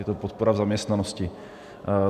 Je to podpora v zaměstnanosti.